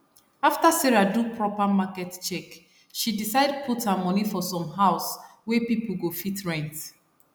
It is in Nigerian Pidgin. after sarah do proper market check she decide put her money for some house wey people go fit rent